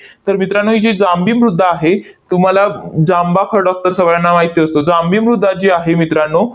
तर मित्रांनो, ही जी जांभी मृदा आहे, तुम्हाला जांभा खडक तर सगळ्यांना माहिती असतो. जांभी मृदा जी आहे मित्रांनो,